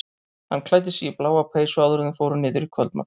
Hann klæddi sig í bláa peysu áður en þau fóru niður í kvöldmat.